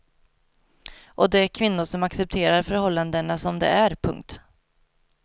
Och de kvinnor som accepterar förhållandena som de är. punkt